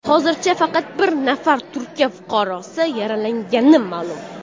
Hozircha faqat bir nafar Turkiya fuqarosi yaralangani ma’lum.